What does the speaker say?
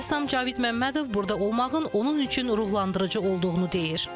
Rəssam Cavid Məmmədov burada olmağın onun üçün ruhlandırıcı olduğunu deyir.